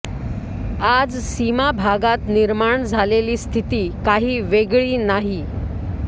आज सीमाभागात निर्माण झालेली स्थिती काही वेगळी नाही